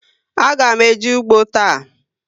A ga m eje ụgbọ taa